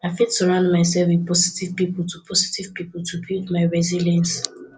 i fit surround myself with positive people to positive people to build my resilience